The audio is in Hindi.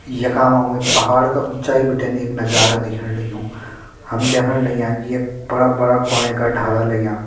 यखा म हमें पहाड़ का ऊँचाई बटेन एक नजारा दिखेण लग्युं हम द्येखण लग्यां कि यख बड़ा-बड़ा क्वोले का ढाला लग्यां।